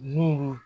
Mulu